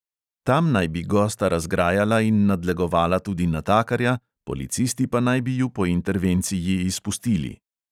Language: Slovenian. Tam naj bi gosta razgrajala in nadlegovala tudi natakarja, policisti pa naj bi ju po intervenciji izpustili.